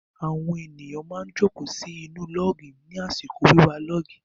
Àwọn èrò má ń jókòó sí inú lọ́ọ̀gì ní àsìkò wíwa lọ́ọ̀gì.